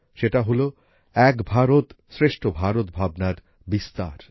সেটা হল এক ভারত শ্রেষ্ঠ ভারত ভাবনার বিস্তার